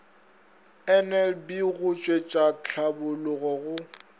nlb go tšwetša tlhabolla go